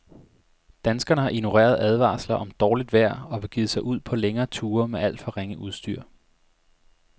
Danskerne har ignoreret advarsler om dårligt vejr og begivet sig ud på længere ture med alt for ringe udstyr.